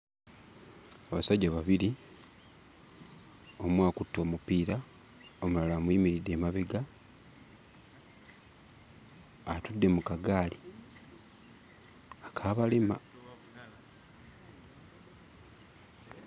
Abasajja babiri; omu akutte omupiira, omulala amuyimiridde emabega, atudde mu kagaali ak'abalema.